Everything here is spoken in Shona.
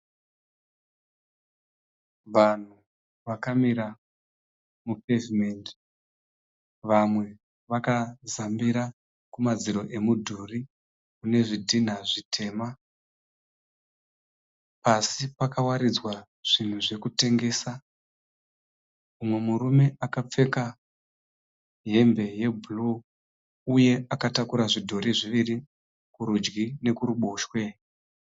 Vanhu vakamira mu pavement vamwe vakazambira kumadziro emudhuri kune zvidhina zvitema. Pasi pakawaridzwa zvinhu zvekutengesa. Mumwe murume akapfeka hembe ye bhuruu uye akatakura zvidhorii zviviri kurudyi nekuruboshwe.